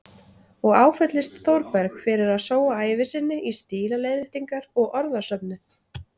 Og áfellist Þórberg fyrir að sóa ævi sinni í stílaleiðréttingar og orðasöfnun.